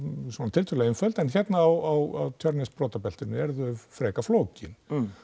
tiltölulega einföld hérna á Tjörnesbrotabeltinu eru þau frekar flókin